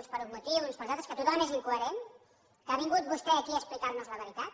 uns per uns motius uns per uns altres que tothom és incoherent que ha vingut vostè aquí a explicar nos la veritat